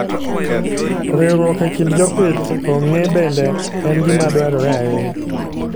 Riwruok e kind jopith ong'e bende en gima dwarore ahinya.